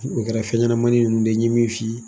O kɛra fɛn ɲɛnamani nunnu de ye n ye min f'i ye.